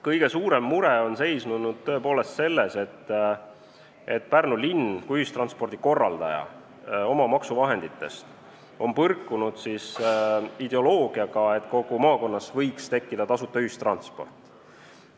Kõige suurem mure on seisnenud tõepoolest selles, et Pärnu linn, kes korraldab ühistransporti oma maksuvahendite eest, on põrkunud ideoloogiaga, et kogu maakonnas võiks tekkida tasuta ühistransport.